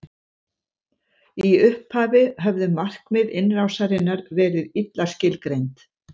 í upphafi höfðu markmið innrásarinnar verið illa skilgreind